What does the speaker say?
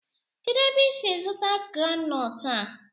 Kedụ ebe i si zụta granọt a?